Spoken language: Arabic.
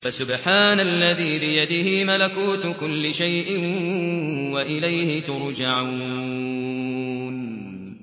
فَسُبْحَانَ الَّذِي بِيَدِهِ مَلَكُوتُ كُلِّ شَيْءٍ وَإِلَيْهِ تُرْجَعُونَ